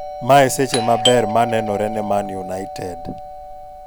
Mae seche maber manenore neMan United.